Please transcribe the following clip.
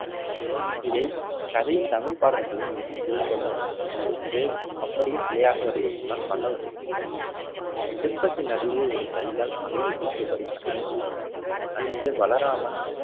இதை கதை தமிழ் பாடல்களில் மிகவும் புகழ்பெற்ற ஒன்று. இது அப்படியே சிலையாக வடிவெடுத்துள்ள பல்லவர் சிற்பிகள் சிற்பப்பத்தின் அடியே ஒரு கையால் மலையை தூக்கியபடி கண்ணன் நிற்க அருகே பலராமன்